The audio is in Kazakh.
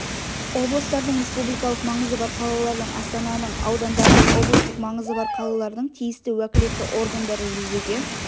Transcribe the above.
облыстардың республикалық маңызы бар қалалардың астананың аудандардың облыстық маңызы бар қалалардың тиісті уәкілетті органдары жүзеге